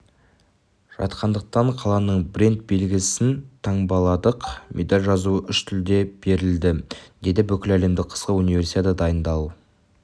жатқандықтан қаланың бренд белгісін таңбаладық медаль жазуы үш тілде берілді деді бүкіләлемдік қысқы универсиадаға дайындалу